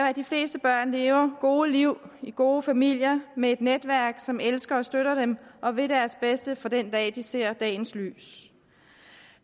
at de fleste børn lever gode liv i gode familier med et netværk som elsker og støtter dem og vil deres bedste fra den dag de ser dagens lys